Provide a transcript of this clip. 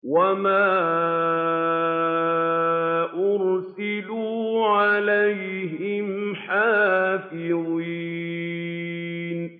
وَمَا أُرْسِلُوا عَلَيْهِمْ حَافِظِينَ